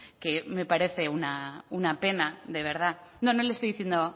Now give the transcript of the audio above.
que me parece una pena de verdad no no le estoy diciendo